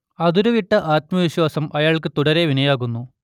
അതിരുവിട്ട ആത്മവിശ്വാസം അയാൾക്ക് തുടരെ വിനയാകുന്നു